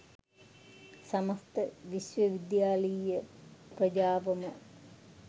සමස්ත විශ්වවිද්‍යාලීය ප්‍රජාවම